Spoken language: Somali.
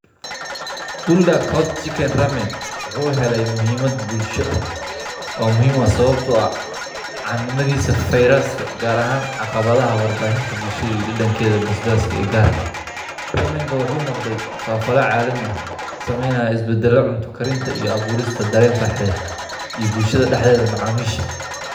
Bulda cort chicken aramet wxu hele muhimada bulsho oo muhim u ah sawabto ah cannimadisa feyraska gar ahan aqabadaha warbahinta bulshadi dadankeda basbaska ee garka Ramanga wxu noqde fafala calami ah sameyayo isbadalo cunta karinta iyo aburista daren farxaded iyo bulshada daxdeda macamisha.